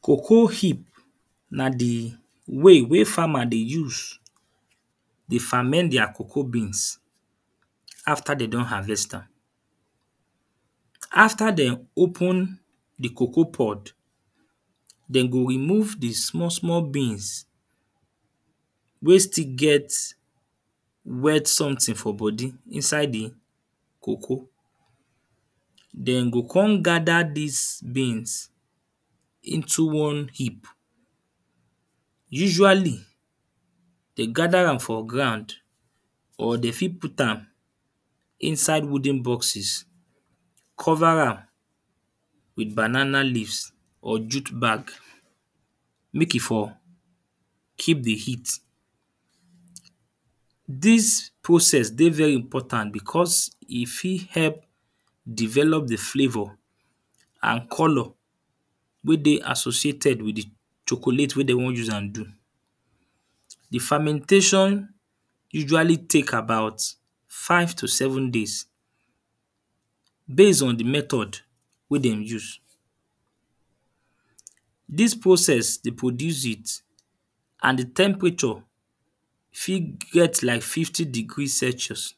Cocoa heap na the way wey farmer dey use the ferment their cocoa beans.\ after they don harvest am. After dem open the cocoapod. Dem go remove the small small beans wey still get red something for body inside the cocoa. Dem go con gather dis beans into one heap. Usually, they gather am for ground or they fit put am inside wooden boxes. Cover am with banana leaves or jute bag make e for keep the heat. Dis process dey very important because e fit help develop the flavour and colour wey dey associated with the chocolate wey de wan use am do. The fermentation usually take about five to seven days base on the mehod wey dem use. Dis process dey produce heat and the temperature fit get like fifty degree celsius.